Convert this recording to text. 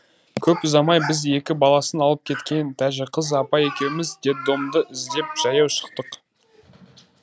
көп ұзамай біз екі баласын алып кеткен тәжіқыз апа екеуіміз детдомды іздеп жаяу шықтық